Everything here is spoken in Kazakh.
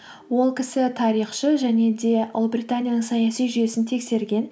ол кісі тарихшы және де ұлыбританияның саяси жүйесін тексерген